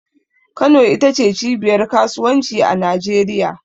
Kano ita ce cibiyar kasuwanci a Najeriya.